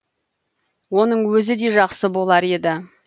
оның өзі де жақсы болар еді